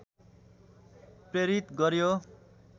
प्रेरित गर्‍यो